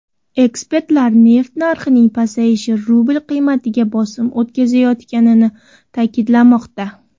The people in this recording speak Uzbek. Ekspertlar neft narxining pasayishi rubl qiymatiga bosim o‘tkazayotganini ta’kidlamoqda.